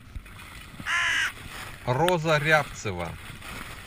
роза рябцева